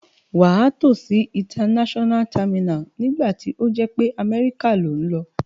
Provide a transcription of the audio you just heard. Wà á tò si international terminal nígbàtí o jé pe America lo n lo